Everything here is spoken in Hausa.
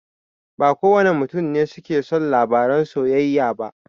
Ba kowane mutane ne suke son labaran soyayya ba.